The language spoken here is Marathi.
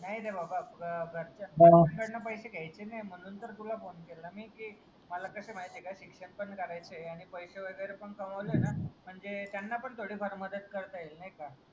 नाही रे बाबा घरच घरच्यांकडंन पैसे घ्यायचे नाही. म्हणून तर तुला फोने केला मी, की मला कसं ये माहितीये का शिक्षण पण करायचंय आणि पैसे वैगेरे पण कमवलं ना म्हणजे त्यांना पण थोडी फार मदत करता येईल नाही का.